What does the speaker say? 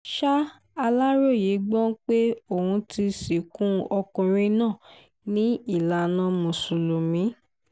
ṣà aláròye gbọ́ pé ọ́n ti sìnkú ọkùnrin náà ní ìlànà mùsùlùmí